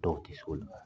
Dɔw tɛ se olu ma